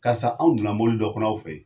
Karisa anw donna mobili dɔ kɔnɔ aw fɛ yen